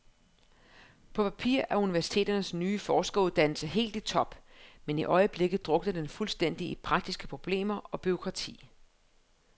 På papiret er universiteternes nye forskeruddannelse helt i top, men i øjeblikket drukner den fuldstændig i praktiske problemer og bureaukrati.